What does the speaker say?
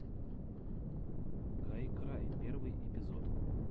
гайкрай первый эпизод